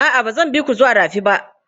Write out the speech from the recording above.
A'a, ba zan bi ku zuwa rafi ba.